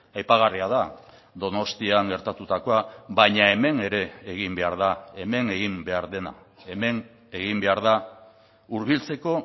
aipagarria da donostian gertatutakoa baina hemen ere egin behar da hemen egin behar dena hemen egin behar da hurbiltzeko